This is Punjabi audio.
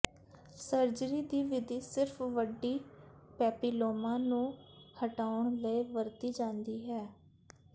ਸਰਜਰੀ ਦੀ ਵਿਧੀ ਸਿਰਫ ਵੱਡੀ ਪੈਪਿਲੋਮਾ ਨੂੰ ਹਟਾਉਣ ਲਈ ਵਰਤੀ ਜਾਂਦੀ ਹੈ